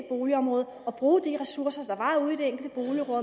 boligområde og bruge de ressourcer der var ude i det enkelte